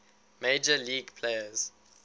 major league players